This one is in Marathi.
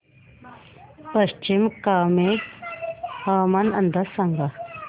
पश्चिम कामेंग हवामान अंदाज सांगा